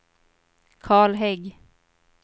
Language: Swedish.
Karl Hägg